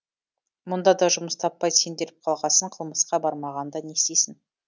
мұнда да жұмыс таппай сенделіп қалғасын қылмысқа бармағанда не істейді